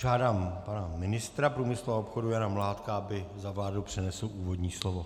Žádám pana ministra průmyslu a obchodu Jana Mládka, aby za vládu přednesl úvodní slovo.